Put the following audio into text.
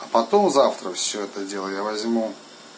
потом завтра все это дело я возьму